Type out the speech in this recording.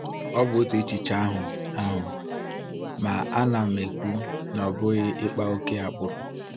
Ọ bụ otu echiche ahụ, ahụ, ma ana m ekwu na ọ bụghị ịkpa ókè agbụrụ.